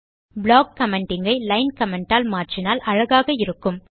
block commenting ஐ line comment ஆல் மாற்றினால் அழகாக இருக்கும்